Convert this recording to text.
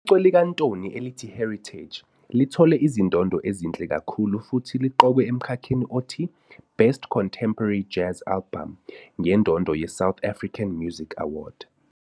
Icwecwe likaNtoni elithi Heritage, 2004, lithole izindondo ezinhle kakhulu futhi liqokwe emkhakheni othi "Best Contemporary Jazz Album" ngendondo yeSouth African Music Award, SAMA.